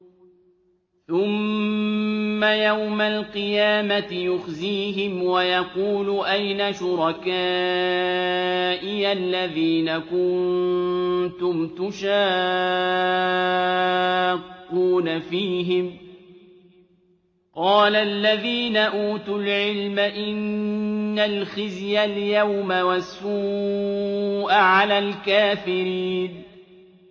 ثُمَّ يَوْمَ الْقِيَامَةِ يُخْزِيهِمْ وَيَقُولُ أَيْنَ شُرَكَائِيَ الَّذِينَ كُنتُمْ تُشَاقُّونَ فِيهِمْ ۚ قَالَ الَّذِينَ أُوتُوا الْعِلْمَ إِنَّ الْخِزْيَ الْيَوْمَ وَالسُّوءَ عَلَى الْكَافِرِينَ